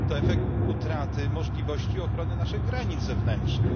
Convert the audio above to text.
To efekt utraty możliwości ochrony naszych granic zewnętrznych.